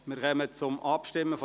Wir kommen zur Abstimmung.